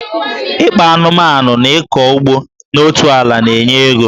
Ịkpa anụmanụ na ịkọ ugbo n'otu ala na-enye ego